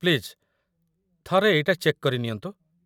Please, ଥରେ ଏଇଟା check କରିନିଅନ୍ତୁ ।